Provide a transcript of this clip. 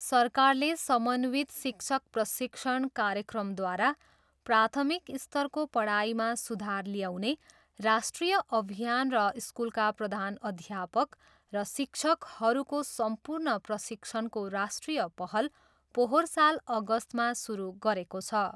सरकारले समन्वित शिक्षक प्रशिक्षण कार्यक्रमद्वारा प्राथमिक स्तरको पढाइमा सुधार ल्याउने राष्ट्रिय अभियान र स्कुलका प्रधानअध्यापक र शिक्षकहरूको सम्पूर्ण प्रशिक्षणको राष्ट्रिय पहल पोहोर साल अगस्तमा सुरु गरेको छ।